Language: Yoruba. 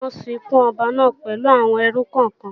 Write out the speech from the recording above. Bẹ́ẹ̀ni, wọn ó sìnkú ọba náà pẹ̀lú àwọn ẹrú kọ̀kan